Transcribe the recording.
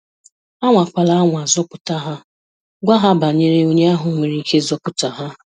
Anwakwala anwa zọpụta ha, gwa ha banyere onye ahụ nwere ike ịzọpụta ha.